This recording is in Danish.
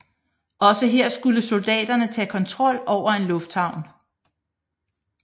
Også her skulle soldaterne tage kontrol over en lufthavn